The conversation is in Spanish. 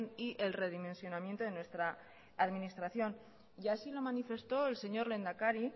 y el redimensionamiento de nuestra administración y así lo manifestó el señor lehendakari